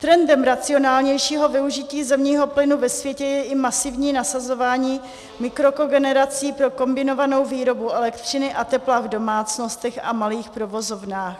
Trendem racionálnějšího využití zemního plynu ve světě je i masivní nasazování mikrokogenerací pro kombinovanou výrobu elektřiny a tepla v domácnostech a malých provozovnách.